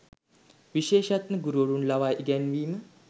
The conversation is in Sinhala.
විශේෂඥ ගුරුවරුන් ලවා ඉගැන්වීම